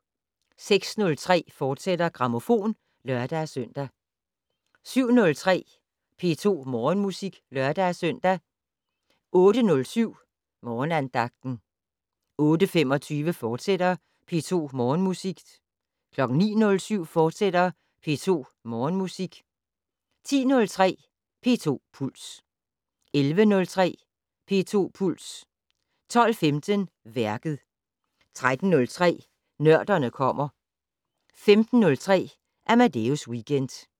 06:03: Grammofon, fortsat (lør-søn) 07:03: P2 Morgenmusik (lør-søn) 08:07: Morgenandagten 08:25: P2 Morgenmusik, fortsat 09:07: P2 Morgenmusik, fortsat 10:03: P2 Puls 11:03: P2 Puls 12:15: Værket 13:03: Nørderne kommer 15:03: Amadeus Weekend